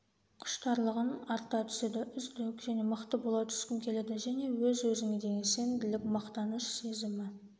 құштарлығың арта түседі үздік және мықты бола түскің келеді және өз-өзіңе деген сенімділік мақтаныш сезімі